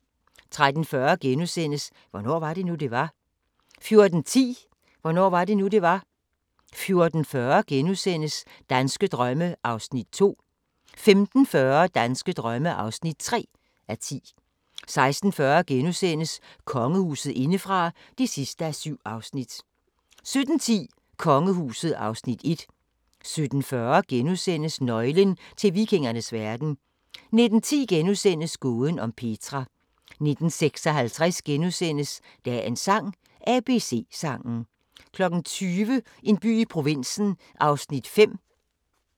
13:40: Hvornår var det nu, det var? * 14:10: Hvornår var det nu, det var? 14:40: Danske drømme (2:10)* 15:40: Danske drømme (3:10) 16:40: Kongehuset indefra (7:7)* 17:10: Kongehuset (Afs. 1) 17:40: Nøglen til vikingernes verden * 19:10: Gåden om Petra * 19:56: Dagens sang: ABC-sangen * 20:00: En by i provinsen (5:17)